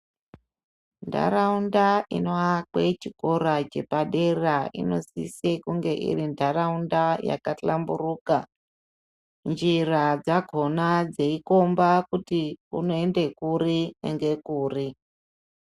Ntharaunda inoakwe chikora chepadera inosisa kunge iri ntharaunda yakahlamburuka. Njira dzakhona dzeikhomba kuti dzinoenda kuri ngekuri.